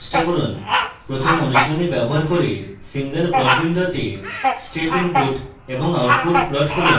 প্রথম অনুশীলনী ব্যবহার করে single plot window step input এবং output plot করুন